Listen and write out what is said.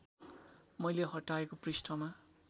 मैले हटाएको पृष्ठमा